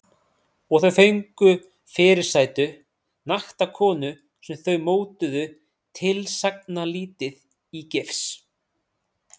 Og þau fengu fyrirsætu- nakta konu sem þau mótuðu tilsagnarlítið í gifs.